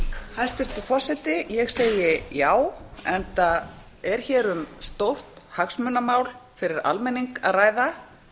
hæstvirtur forseti ég segi já enda er hér um stórt hagsmunamál fyrir almenning að ræða